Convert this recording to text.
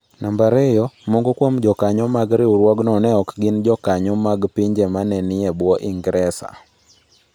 2. Moko kuom jokanyo mag riwruogno ne ok gin jokanyo mag pinje ma ne nie bwo Ingresa.